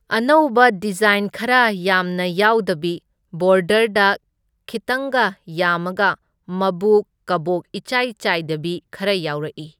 ꯑꯅꯧꯕ ꯗꯤꯖꯥꯏꯟꯗ ꯈꯔ ꯌꯥꯝꯅ ꯌꯥꯎꯗꯕꯤ, ꯕꯣꯗꯔꯗ ꯈꯤꯇꯪꯒ ꯌꯥꯝꯃꯒ ꯃꯕꯨꯛ ꯀꯕꯣꯛ ꯏꯆꯥꯏ ꯆꯥꯏꯗꯕꯤ ꯈꯔ ꯌꯥꯎꯔꯛꯢ꯫